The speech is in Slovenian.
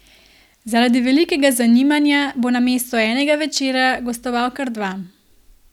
Zaradi velikega zanimanja bo namesto enega večera gostoval kar dva.